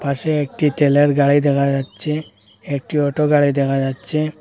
পাশে একটি তেলের গাড়ি দেখা যাচ্চে একটি অটো গাড়ি দেখা যাচ্চে।